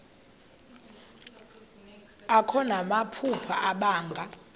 akho namaphupha abanga